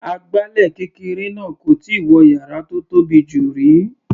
Agbálẹ̀ kékeré náà kò tíì wọ yàrá tó tóbi jù rí.